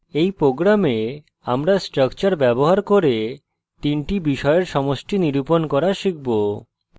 in program আমরা structure ব্যবহার করে তিনটি বিষয়ের সমষ্টি নিরূপণ করা শিখব